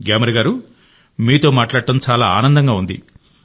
గ్యామర్ గారూ మీతో మాట్లాడటం చాలా ఆనందంగా ఉంది